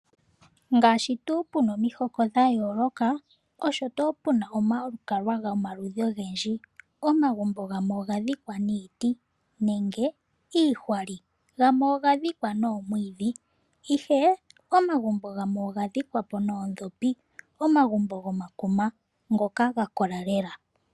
Ngaashi tuu puna omihoka dhayooloka osho tuu puna omalukalwa gomaludhi ogendji. Omagumbo gamwe ogadhikwa niiti nenge iihwali gamwe ogadhikwa noomwiidhi ihe omagumbo gamwe ogadhikwa po noodhopi, omagumbo gomakuma ngoka gakola lela.